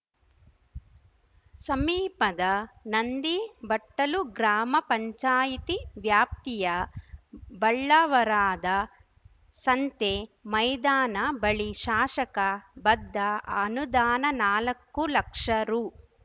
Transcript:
ಸಮೀಪದ ನಂದಿಬಟ್ಟಲು ಗ್ರಾಮ ಪಂಚಾಯತಿ ವ್ಯಾಪ್ತಿಯ ಬಳ್ಳಾವರಾದ ಸಂತೆ ಮೈದಾನ ಬಳಿ ಶಾಶಕ ಬದ್ಧ ಅನುದಾನ ನಾಲಕ್ಕು ಲಕ್ಷ ರು